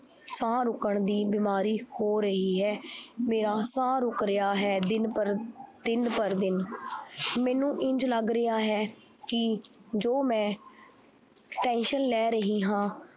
ਸਾਹ ਰੁਕਣ ਦੀ ਬਿਮਾਰੀ ਹੋ ਰਹੀ ਹੈ ਮੇਰਾ ਸਾਹ ਰੁੱਕ ਰਿਹਾ ਹੈ ਦਿਨ ਪਰ, ਦਿਨ ਪਰ ਦਿਨ ਮੈਨੂੰ ਇੰਞ ਲੱਗ ਰਿਹਾ ਹੈ ਕਿ ਜੋ ਮੈਂ tension ਲੈ ਰਹੀ ਹਾਂ